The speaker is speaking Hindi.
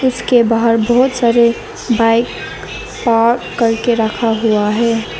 इसके बाहर बहुत सारे बाइक और करके रखा हुआ है।